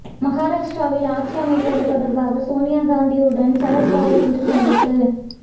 மகாராஷ்டிராவில் ஆட்சி அமைப்பது தொடர்பாக சோனியா காந்தியுடன் சரத்பவார் இன்று சந்திப்பு